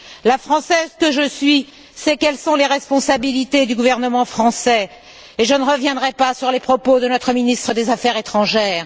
La Française que je suis sait quelles sont les responsabilités du gouvernement français et je ne reviendrai pas sur les propos de notre ministre des affaires étrangères.